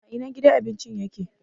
A ina gidan abincin ya ke?